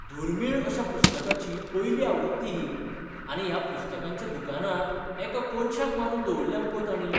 दुर्मीळ अश्या पुस्तकाची पयली आवृत्ती ही. आनी ह्या पुस्तकांच्या दुकानांत एका कोनशाक मारून दवल्ल्या मुगो तांणी!